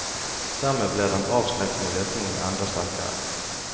Dermed blir den avskrekkende virkningen enda sterkere.